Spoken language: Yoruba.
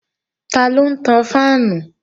Taló ń tan fáànù?